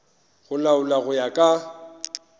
go laolwa go ya ka